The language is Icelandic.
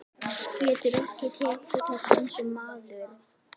Geturðu ekki tekið þessu eins og maður?